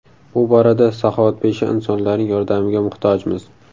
Bu borada saxovatpesha insonlarning yordamiga muhtojmiz.